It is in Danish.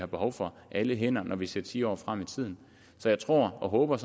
behov for alle hænder når vi ser ti år frem i tiden så jeg tror og håber